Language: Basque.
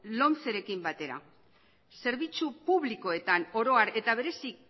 lomcerekin batera zerbitzu publikoetan oro har eta